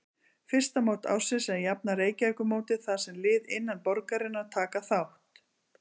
Fyrsta mót ársins er jafnan Reykjavíkurmótið þar sem lið innan borgarinnar taka þátt.